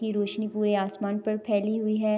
یہ روشنی پورے آسمان پر فائلی ہوئی ہے۔